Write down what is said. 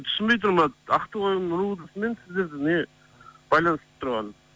түсінбей тұрмын брат ақтоғайдың ровд сы мен сіздерді не байланыстырып тұрғанын